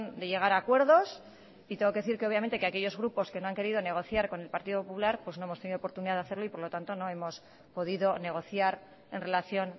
de llegar a acuerdos y tengo que decir que obviamente que aquellos grupos que no han querido negociar con el partido popular pues no hemos tenido oportunidad de hacerlo y por lo tanto no hemos podido negociar en relación